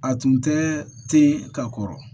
A tun tɛ ten ka kɔrɔ